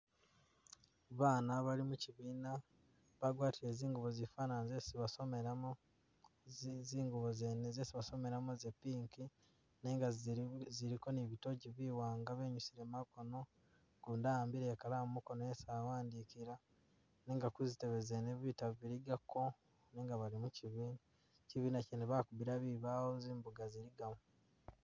Bana bali mukibiina, bagwatile zingubo zifaana nga zesi basomelamu, zi zi zingubo zene zesi basomelamu za pink nenga zili ziliko ni bitogi biwaanga benyusile makono gundi ahambile ikalamu mukoono esi awandukila, nenga kuzitebe zene bitabu biligako nenga bali mu kibiina. Kibiina kye bakubila bibawo zimbuga ziligamu.